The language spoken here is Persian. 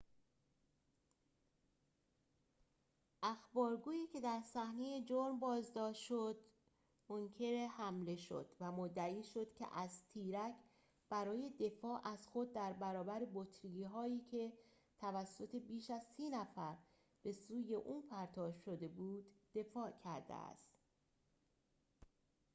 اخبارگویی که در صحنه جرم بازداشت شد منکر حمله شد و مدعی شد که از تیرک برای دفاع از خود در برابر بطری‌هایی که توسط بیش از سی نفر به سوی او پرتاب شده دفاع کرده است